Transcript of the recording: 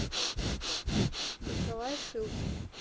николай шилкин